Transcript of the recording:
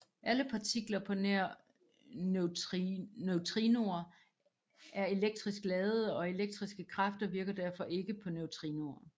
Alle partikler på nær neutrinoer er elektrisk ladede og elektriske kræfter virker derfor ikke på neutrinoer